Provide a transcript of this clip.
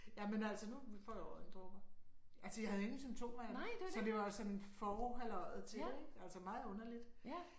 Jamen altså nu får jeg øjendråber. Altså jeg havde ingen symptomer eller så det var sådan for halløjet til det ik altså meget underligt